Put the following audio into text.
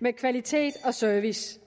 med kvalitet og service